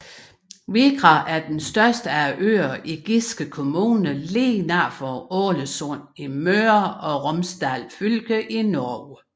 Vigra er den største af øerne i Giske kommune lige nord for Ålesund i Møre og Romsdal fylke i Norge